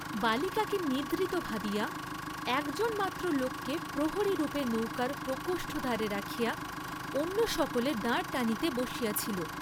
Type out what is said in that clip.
বালিকাকে নিদ্রিত ভাবিয়া একজনকে মাত্র লোককে প্রহরীরূপে নৌকার প্রকোষ্ঠ দ্বারে রাখিয়া অন্য সকলে দাঁড় টানিতে বসিয়াছিল।